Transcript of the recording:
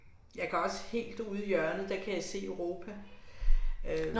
Jeg kan også helt ude i hjørnet der kan jeg se Europa, øh